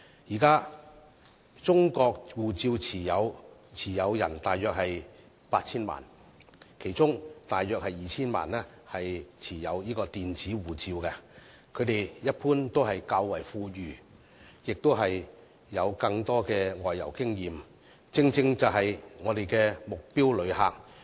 現時，中國護照持有人約有 8,000 萬，其中約 2,000 萬人持有電子護照，他們一般較為富裕並有較多外遊經驗，正是我們的目標旅客。